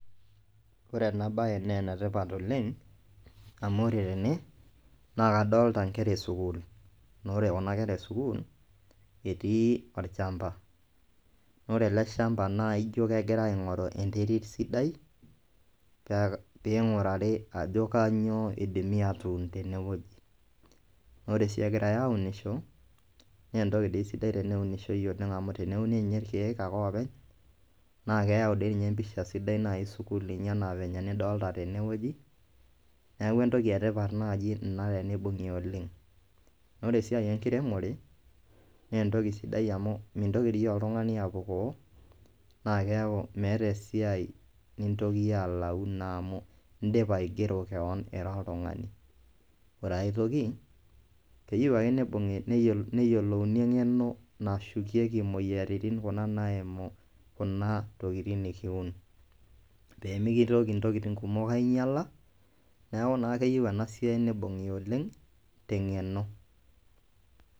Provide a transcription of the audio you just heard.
Ore ena baye nee ene tipat oleng' amu ore tene naa kadolta nkera e sukuul, naa ore kuna kera e sukuul etii olchamba naa ore ele shamba naa ijo egira aing'oru enterit sidai pee piing'urari ajo kanyo idimi aatun tene woji. Naa ore sii egirai aunisho nee entoki dii sidai teneunishoi oleng' amu teneuni nye irkeek ake oopeny naake eyau dii ninye empisha sidai nai sukuul naa venye nidolta tene woji, neeku entoki e tipat naaji ina tenibung'i oleng'. Naa ore esiai enkiremore nee entoki sidai amu mintoki dii oltung'ani apukoo naake eeku metaa esiai nintoki iyie alau naa amu indipa aigero keon ira oltung'ani. Ore ai toki keyeu ake nibung'i neyolo neyolouni eng'eno nashukieki imoyiaritin kuna naimu kuna tokitin nekiun pee mitoki ntokitin kumok ainyala. Neeku naa keyeu ena siai nibung'i oleng' te ng'eno.